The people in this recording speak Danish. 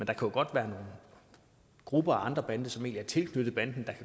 andre grupper og andre bander som ikke er tilknyttet den